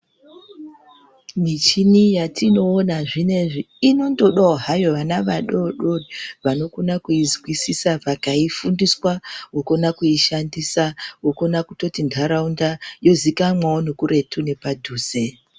Michini yatinoona zvinoizvi inondodavo vana vadodori vanokona kuizwisisa vakaifundiswa vokona kuishandisa, vokona kutoti nharaunda izikanwevo nekuretu nepaduze.